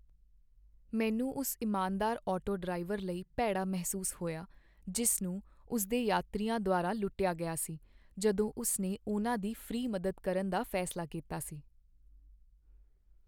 ਮੈਨੂੰ ਉਸ ਇਮਾਨਦਾਰ ਆਟੋ ਡਰਾਈਵਰ ਲਈ ਭੈੜਾ ਮਹਿਸੂਸ ਹੋਇਆ, ਜਿਸ ਨੂੰ ਉਸ ਦੇ ਯਾਤਰੀਆਂ ਦੁਆਰਾ ਲੁੱਟਿਆ ਗਿਆ ਸੀ ਜਦੋਂ ਉਸ ਨੇ ਉਨ੍ਹਾਂ ਦੀ ਫ੍ਰੀ ਮਦਦ ਕਰਨ ਦਾ ਫੈਸਲਾ ਕੀਤਾ ਸੀ।